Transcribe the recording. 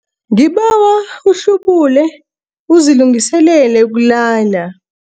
Ngibawa uhlubule uzilungiselele ukulala.